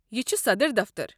یہِ چھُ صدر دفتر۔